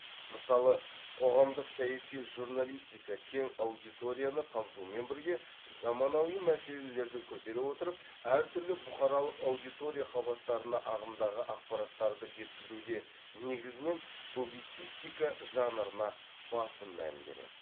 мысалы қоғамдық саяси журналистика кең аудиторияны қамтумен бірге заманауи мәселелерді көтере отырып әр түрлі бұқаралық аудитория қабаттарына ағымдағы ақпараттарды жеткізуде негізінен публицистика жанрына басым мән береді